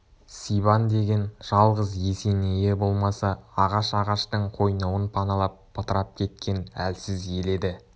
сибан деген жалғыз есенейі болмаса ағаш-ағаштың қойнауын паналап бытырап кеткен әлсіз ел еді